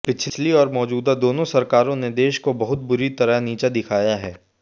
पिछली और मौजूदा दोनों सरकार ों ने देश को बहुत बुरी तरह नीचा दिखाया है